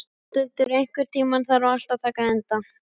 Bóthildur, einhvern tímann þarf allt að taka enda.